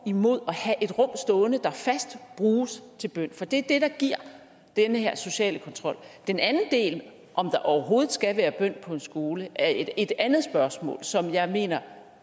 imod at have et rum stående der fast bruges til bøn for det er det der giver den her sociale kontrol den anden del af det om der overhovedet skal være bøn på en skole er et andet spørgsmål som jeg mener